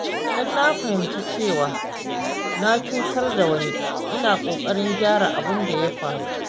Idan na fahimci cewa na cutar da wani, ina ƙoƙarin gyara abin da ya faru.